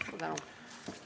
Suur tänu!